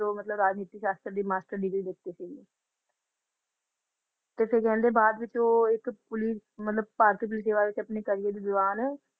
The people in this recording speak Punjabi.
ਤੋਂ ਰਾਜਨੀਤੀ ਸ਼ਸਤਰ ਦੀ ਮਾਸਟਰ ਡਿਗਰੀ ਲੀਤੀ ਸੀ ਤੇ ਫੇਰ ਕਹਿੰਦੇ ਬਾਅਦ ਵਿੱਚ ਉਹ ਇੱਕ police ਮਤਲਬ ਭਾਰਤੀ political ਵਿੱਚ ਆਪਣੇ career ਦੇ ਦੌਰਾਨ